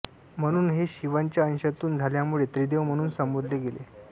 म्हणून हे शिवाच्या अंशातून झाल्यामुळे त्रिदेव म्हणून संबोधले गेले